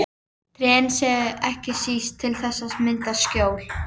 Trén séu ekki síst til þess að mynda skjól.